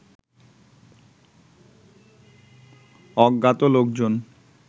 অজ্ঞাত লোকজন